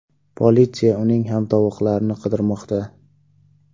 Politsiya uning hamtovoqlarini qidirmoqda.